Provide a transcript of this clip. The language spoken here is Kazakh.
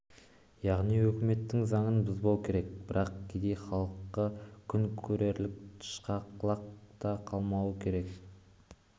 яғни өкіметтің заңын бұзбау керек бірақ кедей халқы күн көрерлік тышқақ лақ та қалмауы керек